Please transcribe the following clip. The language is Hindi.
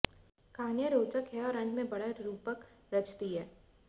कहानियाँ रोचक हैं और अंत में बड़ा रूपक रचती हैं